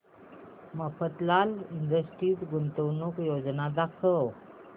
Mafatlal industries गुंतवणूक योजना दाखव